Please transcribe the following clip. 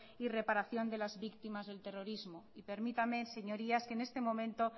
y reparación de las víctimas del terrorismo y permítanme señorías que en este momento